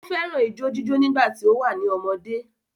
Ó fẹ́ràn ijó jíjó nígbà tí ó wà ní ọmọdé.